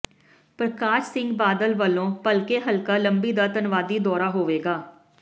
ਪ੍ਰਕਾਸ਼ ਸਿੰਘ ਬਾਦਲ ਵੱਲੋਂ ਭਲਕੇ ਹਲਕਾ ਲੰਬੀ ਦਾ ਧੰਨਵਾਦੀ ਦੌਰਾ ਹੋਵੇਗਾ